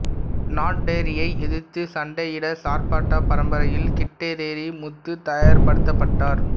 நாட்டெர்ரியை எதிர்த்து சண்டையிட சார்பட்டா பரம்பரையில் கிட்டடேரி முத்து தயார்படுத்தப்பட்டார்